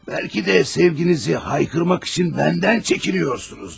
Bəlkə də sevginizi qışqırmaq üçün məndən çəkinirsiniz.